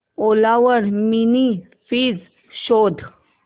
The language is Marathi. ओला वर मिनी फ्रीज शोध